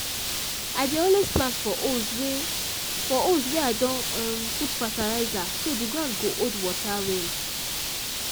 i dey always plant for holes wey for holes wey i don um put fertilizer so the ground go hold water well